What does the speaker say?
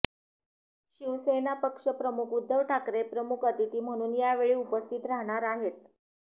शिवसेना पक्षप्रमुख उद्धव ठाकरे प्रमुख अतिथी म्हणून यावेळी उपस्थित राहणार आहेत